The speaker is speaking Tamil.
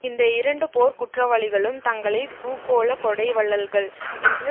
இந்த இரண்டு போர்க் குற்றவாளிகளும் தங்களை பூகோள கொடை வள்ளல்கள் என்று